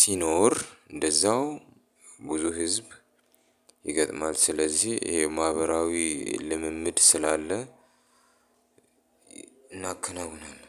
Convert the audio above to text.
ሲኖር እንደዛው ብዙ ህዝብ ይገጥማል ስለዚህ ይሄ ማህበራዊ ልምምድ ስላለ እናከናውናለን።